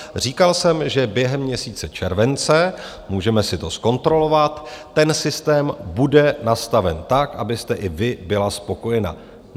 Říkal jsem, že během měsíce července, můžeme si to zkontrolovat, ten systém bude nastaven tak, abyste i vy byla spokojená.